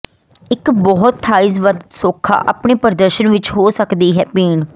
ਇੱਕ ਬਹੁਤ ਥਾਈਜ਼ ਵੱਧ ਸੌਖਾ ਆਪਣੇ ਪ੍ਰਦਰਸ਼ਨ ਵਿਚ ਹੋ ਸਕਦੀ ਹੈ ਪੀਣ